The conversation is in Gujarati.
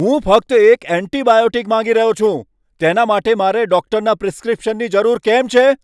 હું ફક્ત એક એન્ટિબાયોટિક માગી રહ્યો છું! તેના માટે મારે ડૉક્ટરના પ્રિસ્ક્રિપ્શનની જરૂર કેમ છે?